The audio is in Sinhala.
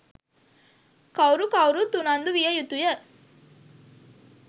කවුරු කවුරුත් උනන්දු විය යුතුය.